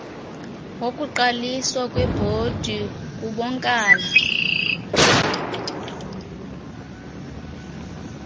yokuqaliswa kwebhodi kubonkala